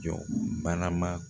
Jɔ banama